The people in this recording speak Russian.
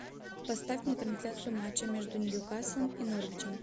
поставь мне трансляцию матча между ньюкасл и норвичем